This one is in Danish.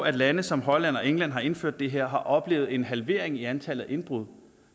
at lande som holland og england har indført det her og har oplevet en halvering af antallet af indbrud